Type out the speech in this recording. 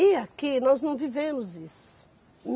E aqui, nós não vivemos isso.